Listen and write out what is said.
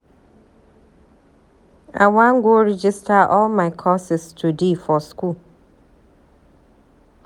I wan go register all my courses today for school